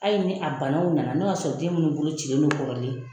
Ali ni a banaw nana, n'o y'a sɔrɔ den minnu bolo cilen don kɔrɔlen